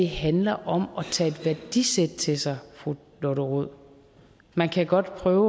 handler om at tage et værdisæt til sig fru lotte rod man kan godt prøve